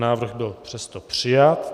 Návrh byl přesto přijat.